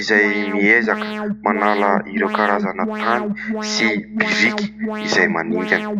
izay miezaka manala ireo karazana tany sy biriky izay maningana.